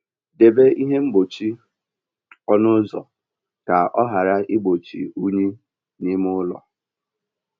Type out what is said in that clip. Debe ihe mgbochi ọnụ ụzọ ka ọ ghara igbochi unyi n'ime ụlọ.